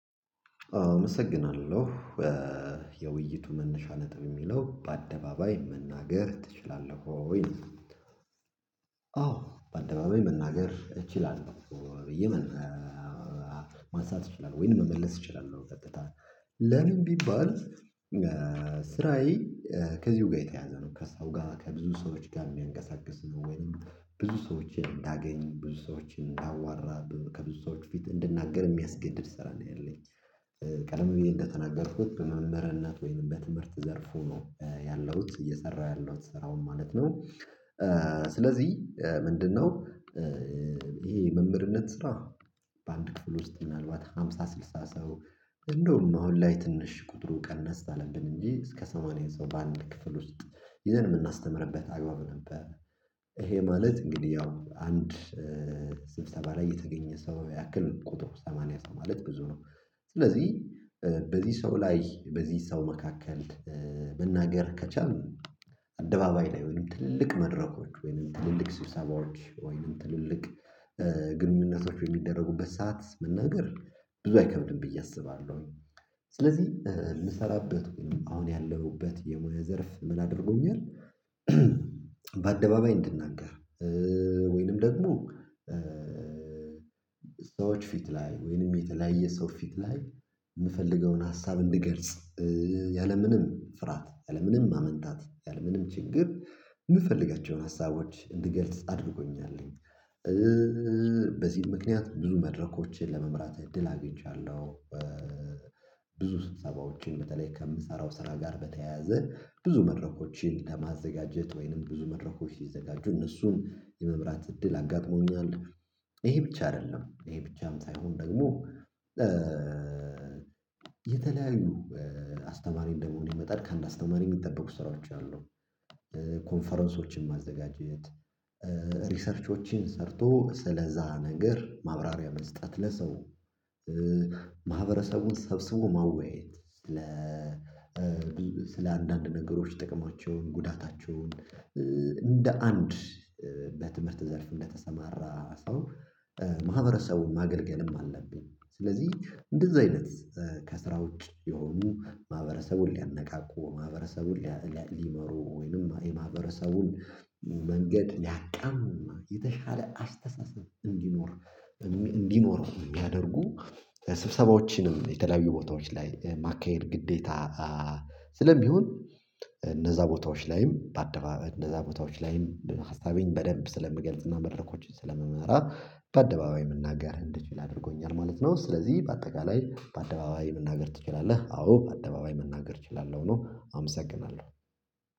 አመሰግናለሁ የውይይቱ መነሻ ነጥብ እሚለው በአደባባይ መናገር ትችላለህ ወይ አዎ በአደባባይ መናገር እችላለሁ ብዬ ማንሳት እችላለሁ ወይንም መመለስ እችላለሁ ቀጥታ ለምን ቢባል ስራዬ ከዚሁ ጋር የተያያዘ ነው ከስራው ጋር ከብዙ ሰዎች ጋር እሚያንቀሳቅስ ነው ወይም ብዙ ሰዎችን እንዳገኝ ብዙ ሰዎችን እንዳዋራ ከብዙ ሰዎች ፊት እንድናገር የሚያስገድድ ስራ ነው ያለኝ ቀደም ብየ እንደተናገርኩት በመምህርነት ወይም በትምህርት ዘርፍ ነው ያለሁት እየሰራሁ ያለሁት ስራውን ማለት ነው ስለዚህ ምንድነው ይሄ መምህርነት ስራ በአንድ ክፍል ውስጥ ምናልባት ሃምሳ ስልሳ ሰው እንደውም አሁን ላይ ትንሽ ቁጥሩ ቀነስ አለብን እንጂ እስከ ሰማንያ ሰው በአንድ ክፍል ውስጥ ይዘን እምናስተምርበት አግባብ ነበር ይሄ ማለት እንግዲህ ያው አንድ ስብሰባ ላይ የተገኘ ሰው ያክል ቁጥር ሰማንያ ሰው ማለት ብዙ ነው ስለዚህ በዚህ ሰው ላይ በዚህ ሰው መካከል መናገር ከቻልን አደባባይ ላይ ወይም ትልልቅ መድረኮች ወይም ትልልቅ ስብሰባዎች ወይም ትልልቅ ግንኙነቶች በሚደረጉበት ሰዓት መናገር ብዙ አይከብድም ብዬ አስባለሁኝ ስለዚህ እምሰራበት ወይንም አሁን ያለሁበት የሙያ ዘርፍ ምን አድርጎኛል በአደባባይ እንድናገር ወይንም ደግሞ ሰዎች ፊት ላይ ወይንም የተለያየ ሰው ፊት ላይ እምፈልገውን ሀሳብ እንድገልጽ ያለምንም ፍርሃት ያለምንም ማመንታት ያለምንም ችግር እምፈልጋቸውን ሀሳቦች እንድገልጽ አድርጎኛል በዚህም ምክንያት ብዙ መድረኮችን ለመምራት እድል አግኝቻለሁ ብዙ ስብሰባዎችን በተለይ ከምሰራው ስራ ጋር በተያያዘ ብዙ መድረኮችን ከማዘጋጀት ወይንም ብዙ መድረኮች ሲዘጋጁ እነሱን የመምራት እድል አጋጥሞኛል ይሄ ብቻ አይደለም ይሄ ብቻም ሳይሆን ደግሞ የተለያዩ አስተማሪ እንደመሆኔ መጠን ከአንድ አስተማሪ እሚጠበቁ ስራዎች አሉ ኮንፈረንሶችን ማዘጋጀት ሪሰርቾችን ሰርቶ ስለዛ ነገር ማብራሪያ መስጠት ለሰው ማህበረሰቡን ሰብስቦ ማወያየት ስለ አንዳንድ ነገሮች ጥቅማቸውን ጉዳታቸውን እንደ አንድ በትምህርት ዘርፍ እንደተሰማራ ሰው ማህበረሰቡን ማገልገልም አለብኝ ስለዚህ እንደዛ አይነት ከስራ ውጪ የሆኑ ማህበረሰቡን ሊያነቃቁ ማህበረሰቡን ሊመሩ ወይንም የማህበረሰቡን መንገድ ሊያቃኑ እና የተሻለ አስተሳሰብ እንዲኖር እንዲኖረው እሚያደርጉ ስብሰባዎችንም የተለያዩ ቦታዎች ላይ ማካሄድ ግዴታ ስለሚሆን እነዛ ቦታዎች ላይም በአደባባይ እነዛ ቦታዎች ላይም ሀሳቤን በደንብ ስለምገልጽና መድረኮችን ስለምመራ በአደባባይ መናገር እንድችል አድርጎኛል ማለት ነው ስለዚህ በአጠቃላይ በአደባባይ መናገር ትችላለህ? አዎ በአደባባይ መናገር እችላለሁ ነው አመሰግናለሁ።